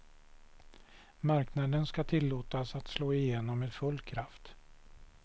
Marknaden ska tillåtas att slå igenom med full kraft.